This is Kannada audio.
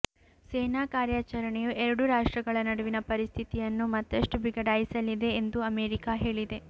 ಸೇನಾ ಕಾರ್ಯಾಚರಣೆಯು ಎರಡು ರಾಷ್ಟ್ರಗಳ ನಡುವಿನ ಪರಿಸ್ಥಿತಿಯನ್ನು ಮತ್ತಷ್ಟು ಬಿಗಡಾಯಿಸಲಿದೆ ಎಂದು ಅಮೆರಿಕಾ ಹೇಳಿದೆ